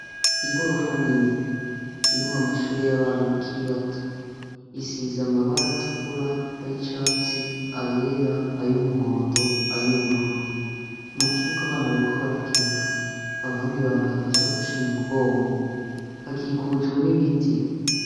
Igorofa nini irimwo amashure y'abana bakiri bato isize amabara atukura ay'icatsi, ayera, ay'umuhondo ,ay'ubururu. Mu kibuga abana bariko barakina abandi bambaye amasakoshi mu mugongo hakikujwe n'ibiti.